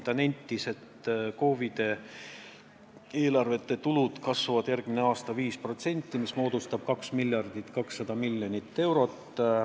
Ta nentis, et KOV-ide eelarvete tulud kasvavad järgmine aasta 5%, st 2,2 miljardi euroni.